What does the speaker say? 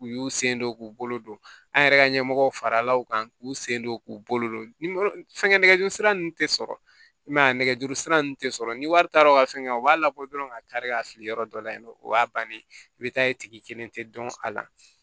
U y'u sen don k'u bolo don an yɛrɛ ka ɲɛmɔgɔ farala u kan k'u sen don k'u bolo don fɛn kɛ nɛgɛjuru sira ninnu tɛ sɔrɔ i m'a ye a nɛgɛjuru sira ninnu tɛ sɔrɔ ni wari taara u ka fɛn kɛ u b'a labɔ dɔrɔn ka taari ka fili yɔrɔ dɔ la yen nɔ o y'a bannen ye i bɛ taa ye tigi kelen tɛ dɔn a la